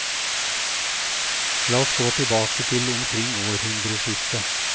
La oss gå tilbake til omkring århundreskiftet.